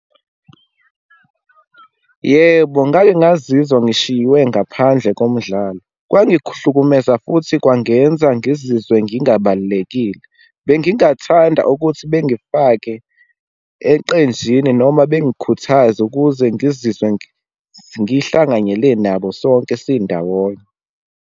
Yebo, ngake ngazizwa ngishiywe ngaphandle komdlalo. Kwangihlukumeza futhi kwangenza ngizizwe ngingabalulekile. Bengingathanda ukuthi bengifake eqenjini noma bengikhuthaze ukuze ngizizwe ngihlanganyele nabo sonke sindawonye.